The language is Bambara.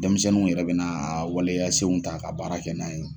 Denmisɛnninw yɛrɛ bɛna a waleya senw ta ka baara kɛ n'a ye.